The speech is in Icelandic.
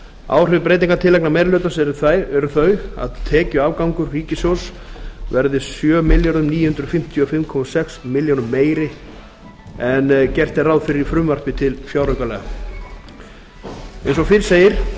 áhrif breytingartillagna meiri hluta eru þau að tekjuafgangur ríkissjóðs verður sjö þúsund níu hundruð fimmtíu og fimm komma sex milljónum meiri en gert er ráð fyrir í frumvarpi til fjáraukalaga eins og fyrr segir